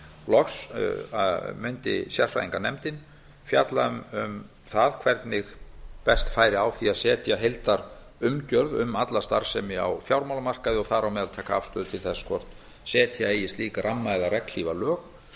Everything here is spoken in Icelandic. loks mundi sérfræðinganefndin fjalla um það hvernig best færi á því að setja heildarumgjörð um alla starfsemi á fjármálamarkaði og þar á meðal taka afstöðu til þess hvort setja eigi slíka ramma eða regnhlífarlög